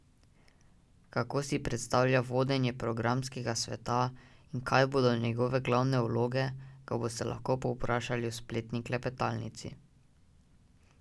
Kako si predstavlja vodenje programskega sveta in kaj bodo njegove glavne naloge, ga boste lahko povprašali v spletni klepetalnici.